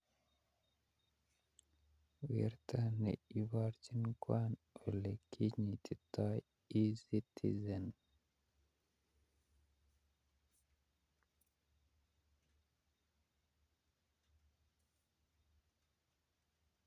Werto ne iborchin kwan ole kinyititoi Ecitizen